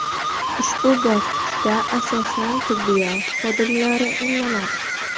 Ushbu bosqichda asosan tibbiyot xodimlari emlanadi.